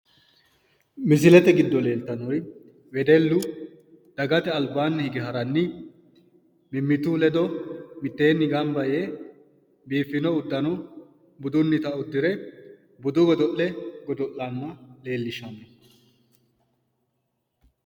Misilete giddo leeltannori wedellu dagate albaanni hige haranni mimmitu ledo mittenni gamba yee biiffino uddano budunnita uddire budu godo'le godo'lanna leellishshanno